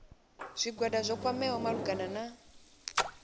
zwigwada zwo kwameaho malugana na